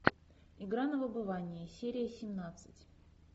игра на выбывание серия семнадцать